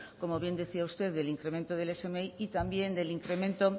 como bien decía usted del incremento del smi y también el incremento